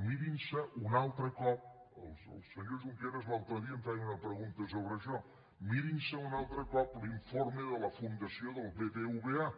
mirin se un altre cop el senyor junqueras l’altre dia em feia una pregunta sobre això l’informe de la fundació del bbva